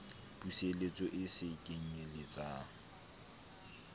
puseletso e se kenyel letsang